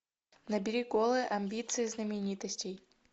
набери голые амбиции знаменитостей